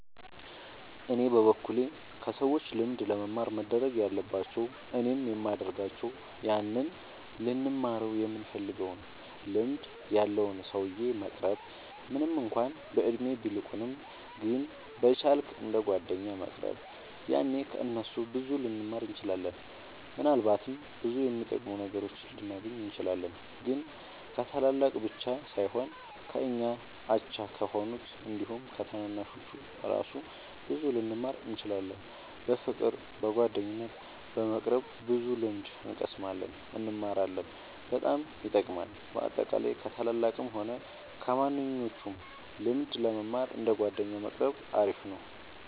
እኔ በበኩሌ ከሰዎች ልምድ ለመማር መደረግ ያለባቸው እኔም የሚደርጋቸው ያንን ልንማረው ይምንፈልገውን ልምድ ያለውን ሰውዬ መቅረብ ምንም እንኳን በእድሜ ቢልቁንም ግን በቻ ልክ እንደ ጓደኛ መቅረብ ያኔ ከ እነሱ ብዙ ልንማር እንችላለን። ምናልባትም ብዙ የሚጠቅሙ ነገሮችን ልናገኝ እንችላለን። ግን ከታላላቅ ብቻ ሳይሆን ከኛ አቻ ከሆኑት አንዲሁም ከታናናሾቹ እራሱ ብዙ ልንማር እንችላለን። በፍቅር በጓደኝነት በመቅረብ ብዙ ልምድ እንቀስማለን እንማራለን በጣም ይጠቅማል። በአጠቃላይ ከ ታላላቅም ሆነ ከማንኞቹም ልምድ ለመማር እንደ ጓደኛ መቆረብ አሪፍ ነው